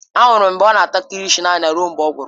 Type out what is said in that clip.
Ahụrụ m ya ka ọ na-ata kilishi naanị ya ruo mgbe ọ gwụrụ.